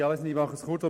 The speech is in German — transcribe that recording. Ich fasse mich kurz.